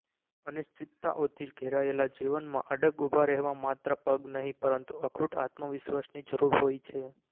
અનિશ્ચિતતાઓથી ઘેરાયેલા જીવનમાં અડગ ઉભા રહેવા માત્ર પગ નહીં પરંતુ અખૂટ આત્મવિશ્વાસની જરૂર હોય છે